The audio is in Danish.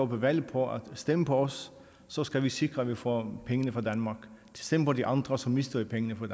valg på stem på os så skal vi sikre at vi får pengene fra danmark stem på de andre så mister vi pengene fra